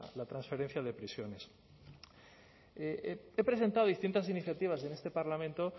la transferencia de prisiones he presentado distintas iniciativas en este parlamento